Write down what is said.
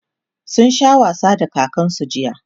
sun Sha wasa da kakansu jiya